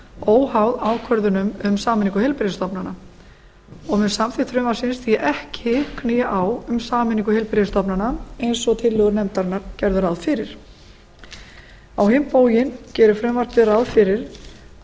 óháð ákvörðunum um sameiningu heilbrigðisstofnana og mun samþykkt frumvarpsins því ekki knýja á um sameiningu heilbrigðisstofnana eins og tillögur nefndarinnar gerðu ráð fyrir á hinn bóginn gerir frumvarpið ráð fyrir að